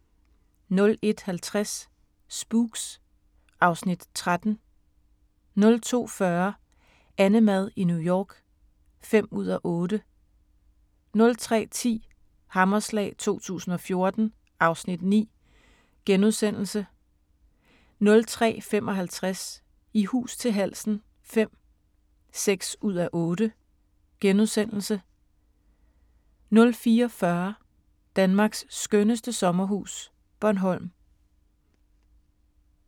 01:50: Spooks (Afs. 13) 02:40: AnneMad i New York (5:8) 03:10: Hammerslag 2014 (Afs. 9)* 03:55: I hus til halsen V (6:8)* 04:40: Danmarks skønneste sommerhus – Bornholm